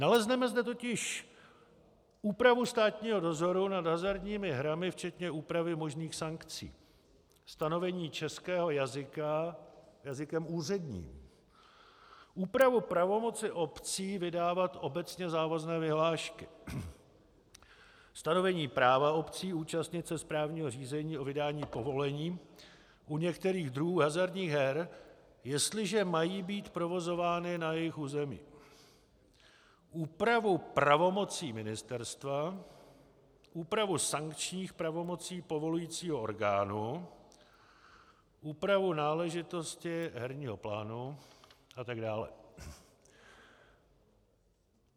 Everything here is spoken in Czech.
Nalezneme zde totiž úpravu státního dozoru nad hazardními hrami včetně úpravy možných sankcí, stanovení českého jazyka jazykem úředním, úpravu pravomoci obcí vydávat obecně závazné vyhlášky, stanovení práva obcí účastnit se správního řízení o vydání povolení u některých druhů hazardních her, jestliže mají být provozovány na jejich území, úpravu pravomocí ministerstva, úpravu sankčních pravomocí povolujícího orgánu, úpravu náležitostí herního plánu, atd.